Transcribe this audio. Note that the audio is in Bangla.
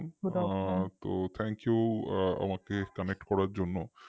তো thank you আমাকে connect করার জন্য